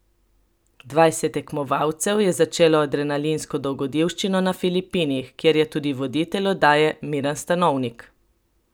Dvajset tekmovalcev je začelo adrenalinsko dogodivščino na Filipinih, kjer je tudi voditelj oddaje Miran Stanovnik.